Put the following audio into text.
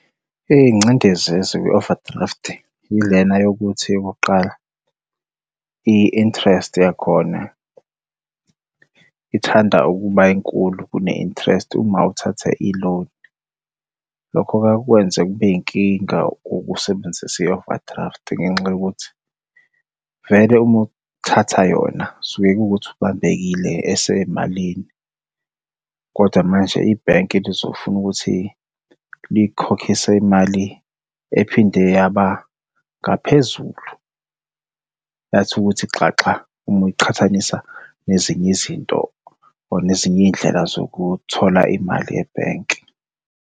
Iy'ngcindezi ezikwi-overdraft, yilena yokuthi okokuqala i-interest yakhona ithanda ukuba yinkulu kune interest uma uthatha i-loan. Lokho-ke kuyaye kukwenze kube yinkinga ukusebenzisa i-overdraft ngenxa yokuthi vele uma uthatha yona, suke kuwukuthi ubambekile esemalini, kodwa manje ibhenki lizofuna ukuthi likukhokhise imali ephinde yaba ngaphezulu. Yathi ukuthi xaxa uma uyiqhathanisa nezinye izinto or nezinye iy'ndlela zokuthola imali ebhenki.